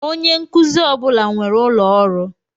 Onye nkuzi ọ bụla nwere ụlọ ọrụ.